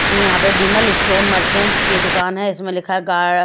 यहां पे Vimal store merchants की दुकान है इसमें लिखा गा--